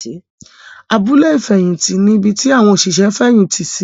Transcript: Abúlé ìfẹ̀yìntì ní ibi tí àwọn òṣìṣẹ́ ń fẹ̀yìntì sí.